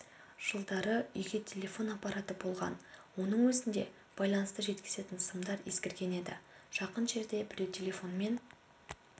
жылдары үйге телефон аппараты болған оның өзінде байланысты жеткізетін сымдар ескірген еді жақын жерде біреу телефонмен